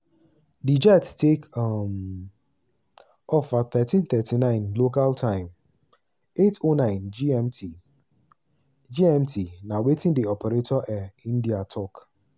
di jet take um off at 13:39 local time (08:09 gmt) gmt) na wetin di operator air india tok.